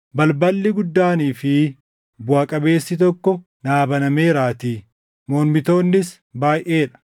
Balballi guddaanii fi buʼaa qabeessi tokko naa banameeraatii; mormitoonnis baayʼee dha.